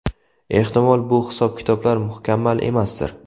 Ehtimol, bu hisob-kitoblar mukammal emasdir.